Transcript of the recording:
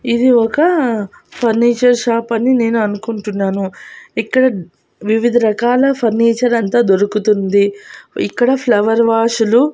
ఇది ఒక furniture shop అని నేను అనుకుంటున్నాను ఇక్కడ వివిధ రకాల ఫర్నిచర్ అంతా దొరుకుతుంది ఇక్కడ ఫ్లవర్ వాష్ లు --